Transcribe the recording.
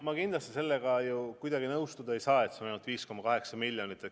Ma kindlasti sellega kuidagi nõustuda ei saa, et seda raha on ainult 5,8 miljonit.